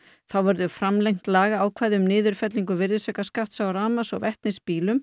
þá verður framlengt lagaákvæði um niðurfellingu virðisaukaskatts á rafmagns og vetnisbílum